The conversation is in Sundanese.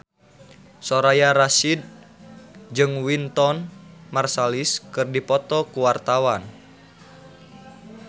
Soraya Rasyid jeung Wynton Marsalis keur dipoto ku wartawan